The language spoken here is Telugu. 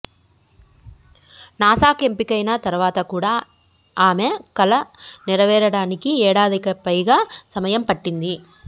నాసాకు ఎంపికైన తర్వాత కూడా ఆమె కల నెరవేరడానికి ఏడాదికిపైగా సమయం పట్టింది